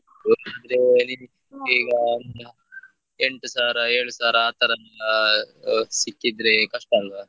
ಎಂಟು ಸಾವಿರ ಏಳು ಸಾವಿರ ಆತರೆಲ್ಲಾ ಸಿಕ್ಕಿದ್ರೆ ಕಷ್ಟ ಆಲ್ವಾ?